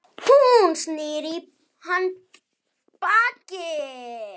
Hún snýr í hann baki.